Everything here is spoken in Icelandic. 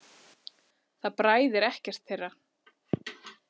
Það bræðir ekkert þeirra.